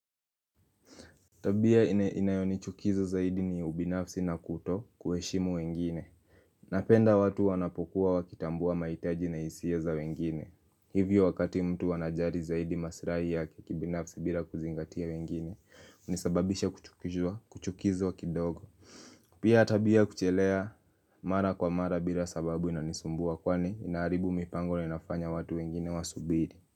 Tabia inayo nichukiza zaidi ni ubinafsi na kuto kuheshimu wengine. Napenda watu wanapokuwa wakitambua mahitaji na hisia za wengine. Hivyo wakati mtu wanajali zaidi masilahi yake binafsi bila kuzingatia wengine. Unisababisha kuchukizwa kidogo. Pia tabia kuchelewa mara kwa mara bila sababu inanisumbua kwani inaharibu mipango na inafanya watu wengine wa subiri.